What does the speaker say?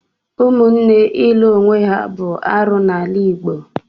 Ụmụnne ilụ onwe ha bụ arụ n'ala Igbo.